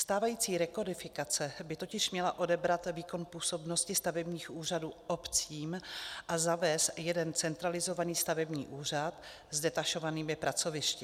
Stávající rekodifikace by totiž měla odebrat výkon působnosti stavebních úřadů obcím a zavést jeden centralizovaný stavební úřad s detašovanými pracovišti.